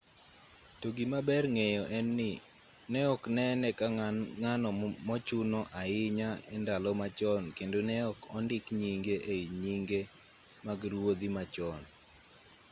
to gima ber ng'eyo en ni ne ok nene ka ng'ano mochuno ahinya e ndalo machon kendo ne ok ondik nyinge ei nyinge mag ruodhi ma chon